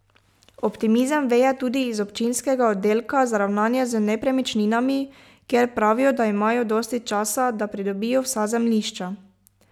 Optimizem veje tudi iz občinskega oddelka za ravnanje z nepremičninami, kjer pravijo, da imajo dosti časa, da pridobijo vsa zemljišča.